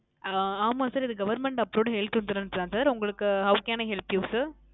அஹ் ஆமா Sir இது Government Approved Health Insurance தான் உங்களுக்கு How can i help you Sir